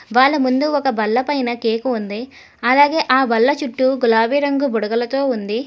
వాళ్ళ ముందు ఒక బల్ల పైన కేక్ ఉంది అలాగే ఆ బల్ల చుట్టు గులాబీ రంగు బుడగలతో ఉంది.